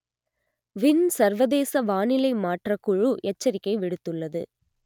win சர்வதேச வானிலை மாற்றக் குழு எச்சரிக்கை விடுத்துள்ளது